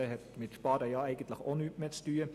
Dies hätte mit Sparen nichts mehr zu tun.